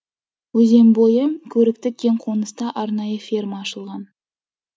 өзен бойы көрікті кең қоныста арнайы ферма ашылған